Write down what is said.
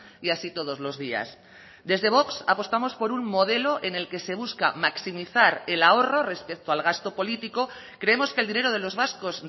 y así todos los días desde vox apostamos por un modelo en el que se busca maximizar el ahorro respecto al gasto político creemos que el dinero de los vascos